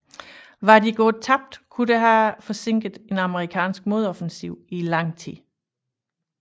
Var de gået tabt kunne det have forsinket en amerikansk modoffensiv i lang tid